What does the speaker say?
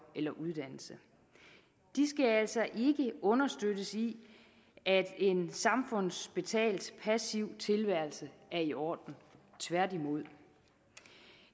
eller uddannelse de skal altså ikke understøttes i at en samfundsbetalt passiv tilværelse er i orden tværtimod